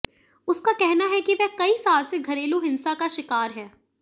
उसका कहना है कि वह कई साल से घरेलू हिंसा का शिकार है